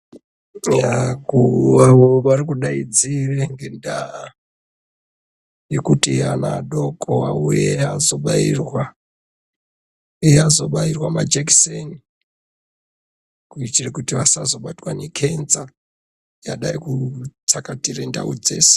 Yaa vakuru vavao vari kudaidzire ngendaa yekuti adoko auye ozobayirwa majekiseni kuitire kuti vasazobatwa nekenza yadaikutsakatire ndau dzeshe.